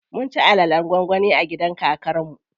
Mun ci alalen gwangwani a gidan kakar mu.